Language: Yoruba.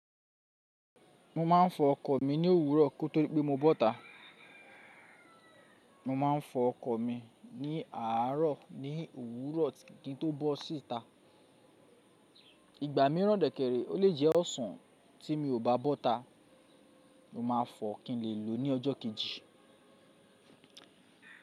Mo máa ń fọ ọkọ̀ mi ní owurọ ko to dipe mo bọọta. Mo máa ń fọ ọkọ̀ mi ní àárọ̀ ní òwúrọ̀ kin to bọsi ita. Ìgbà mìíràn dẹ̀kẹ̀ẹ̀rẹ̀, ó lè jẹ́ ọ̀sán tí mi ò bá bọ́ ta, mo máa fọ kín lè lòó ní ọjọ́ kejì.